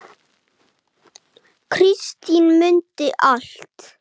Kristín mundi allt.